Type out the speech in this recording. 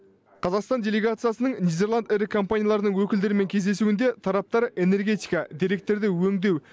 қазақстан делегациясының нидерланд ірі компанияларының өкілдерімен кездесуінде тараптар энергетика деректерді өңдеу